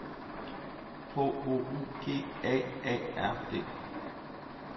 H O U G A A R D